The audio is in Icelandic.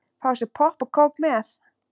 Fá sér popp og kók með.